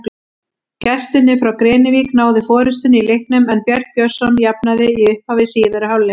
Gestirnir frá Grenivík náðu forystunni í leiknum en Björn Björnsson jafnaði í upphafi síðari hálfleiks.